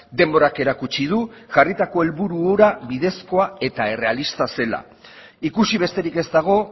denborak erakutsi du jarritako helburu hura bidezkoa eta errealista zela ikusi besterik ez dago